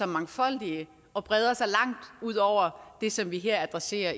mangfoldige og breder sig langt ud over det som vi i adresserer